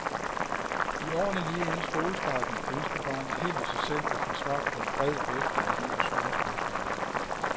I årene lige inden skolestarten ønsker barnet helt af sig selv at få svar på en bred vifte af livets store spørgsmål.